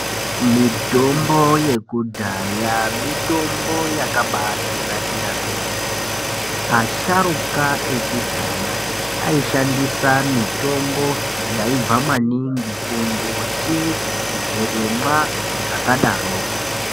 Mitombo yekudhaya mitombo yakabatinakira kwemene asharuka ekudhaya ayishandisa mitombo yaibva maningi kumbuti zvirimwa zvakadaroko.